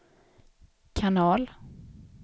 kanal